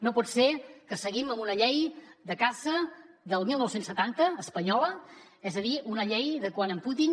no pot ser que seguim amb una llei de caça del dinou setanta espanyola és a dir una llei de quan en putin